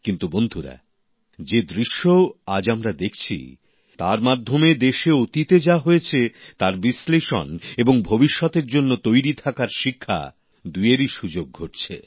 কিন্তু বন্ধুরা যে দৃশ্য আজ আমরা দেখছি তার মাধ্যমে দেশে অতীতে যা হয়েছে তার বিশ্লেষণ এবং ভবিষ্যতের জন্য তৈরি থাকার শিক্ষা দুইয়েরই সুযোগ ঘটছে